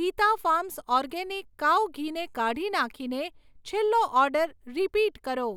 Hita farms organic cow ઘીને કાઢી નાંખીને છેલ્લો ઓર્ડર રીપીટ કરો.